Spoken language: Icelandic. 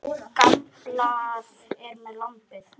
Tryllir veðrið sæinn.